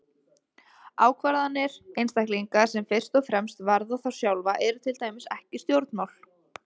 Ákvarðanir einstaklinga sem fyrst og fremst varða þá sjálfa eru til dæmis ekki stjórnmál.